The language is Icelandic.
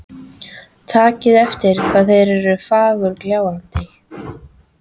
Takið eftir hvað þeir eru fagurgljáandi.